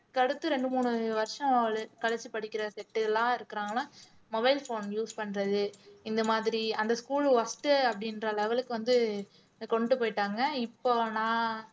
அடுத்து ரெண்டு மூணு வருஷம் கழிச்சு படிக்கிற set எல்லாம் இருக்கிறாங்கன்னா mobile phone use பண்றது இந்த மாதிரி அந்த school worst உ அப்படின்ற level க்கு வந்து கொண்டு போயிட்டாங்க இப்போ நான்